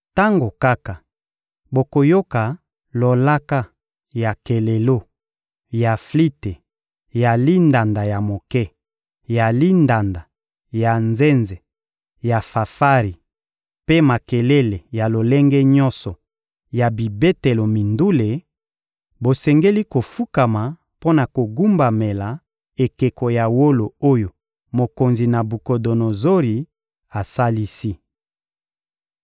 «Tango kaka bokoyoka lolaka ya kelelo, ya flite, ya lindanda ya moke, ya lindanda, ya nzenze, ya fanfari mpe makelele ya lolenge nyonso ya bibetelo mindule, bosengeli kofukama mpo na kogumbamela ekeko ya wolo oyo mokonzi Nabukodonozori asalisi.